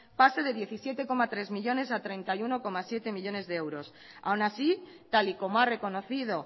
pase de diecisiete coma tres millónes a treinta y uno coma siete millónes de euros aun así tal y como ha reconocido